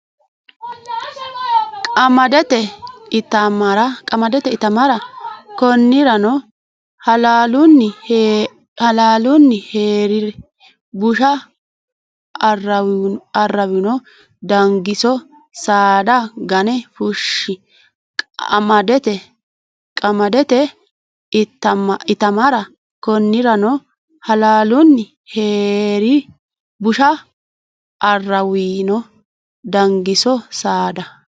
Qamadete itamara Konnirano Halaalunni hee ri busha aaraawino Dangiso saada gane fushshi Qamadete itamara Konnirano Halaalunni hee ri busha aaraawino Dangiso saada.